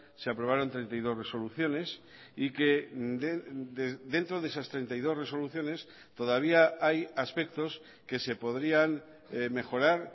se aprobaron treinta y dos resoluciones y que dentro de esas treinta y dos resoluciones todavía hay aspectos que se podrían mejorar